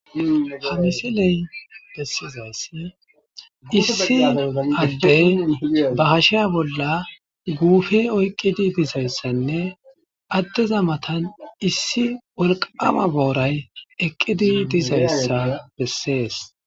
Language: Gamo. Ha misiley besizaysi issi adeyi be gashiya bolla guupe oykidi dizaysanne adeza matani issi wolqama boorayi eqidi dizaysa beses.